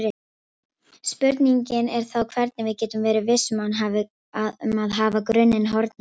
Spurningin er þá hvernig við getum verið viss um að hafa grunninn hornréttan.